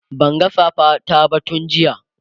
Banga safa ta ba tun jiya